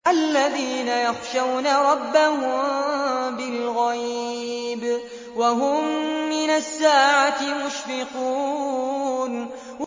الَّذِينَ يَخْشَوْنَ رَبَّهُم بِالْغَيْبِ وَهُم مِّنَ السَّاعَةِ مُشْفِقُونَ